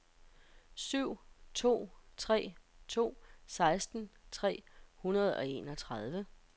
syv to tre to seksten tre hundrede og enogtredive